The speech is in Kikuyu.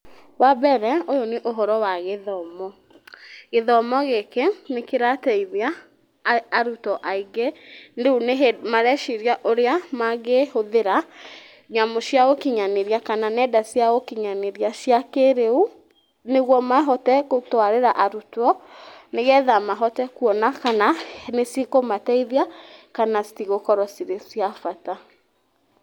Wambere ũyũ nĩ ũhoro wa gĩthomo. Gĩthomo gĩkĩ nĩ kĩrateithia arutwo aingĩ rĩu ni hĩndĩ, mareciria ũrĩa mangĩhũthĩra nyamũ cia ũkinyanĩrĩa kana nenda cia ũkinyanĩrĩa cia kĩrĩu nĩguo mahote gũtwarĩra arutwo nĩgetha mahote kuona kana nĩcikũmateithia kana citigũkorwo cirĩ cia bata.